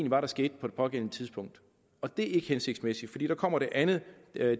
var der skete på det pågældende tidspunkt og det er ikke hensigtsmæssigt der kommer det andet